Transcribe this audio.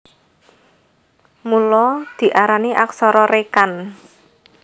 Mula diarani aksara rékan